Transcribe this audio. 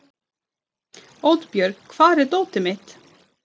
Oddbjörg, hvar er dótið mitt?